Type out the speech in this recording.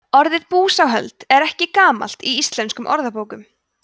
orðið búsáhöld er ekki gamalt í íslenskum orðabókum